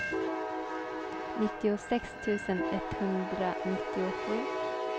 nittiosex tusen etthundranittiosju